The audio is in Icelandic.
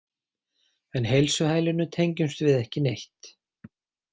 En heilsuhælinu tengjumst við ekki neitt.